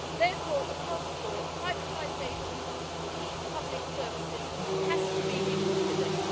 Therefore, across Europe, privatisation of key public services has to be reconsidered.